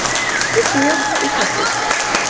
Viltu mjólk í kaffið?